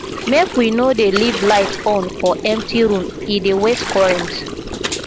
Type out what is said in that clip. make we no dey leave light on for empty room e dey waste current